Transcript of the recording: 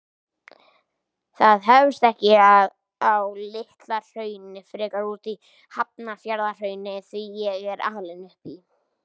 Það hefst ekki á Litla-Hrauni, frekar úti í Hafnarfjarðarhrauni, því ég er alinn upp í